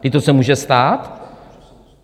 Vždyť to se může stát!